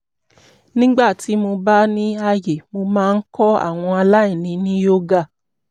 nígbà tí mo bá ní àyè mo máa ń kọ́ àwọn aláìní ní yoga